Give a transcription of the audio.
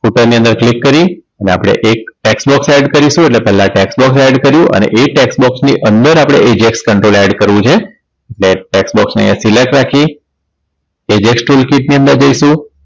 Footer ની અંદર click કરી અને આપણે એક tax box add કરીશુ એટલે પેલા tax box add કર્યુ અને એ tax box ની અંદર આપણે ags control add કરવું છે tax box ને select રાખી ags tool kit ની અંદર જઈશું